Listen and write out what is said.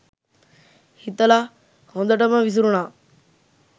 හිතල හොඳටම විසිරුනා.